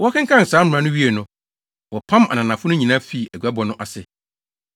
Wɔkenkan saa mmara no wiee no, wɔpam ananafo no nyinaa fii aguabɔ no ase.